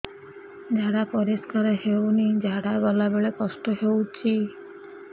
ଝାଡା ପରିସ୍କାର ହେଉନି ଝାଡ଼ା ଗଲା ବେଳେ କଷ୍ଟ ହେଉଚି